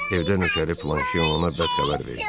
Evdə nökəri Planşe ona bədxəbər verdi.